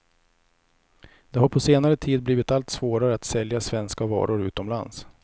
Det har på senare tid blivit allt svårare att sälja svenska varor utomlands.